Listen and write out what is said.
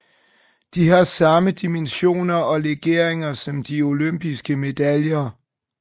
De har samme dimensioner og legeringer som de olympiske medaljer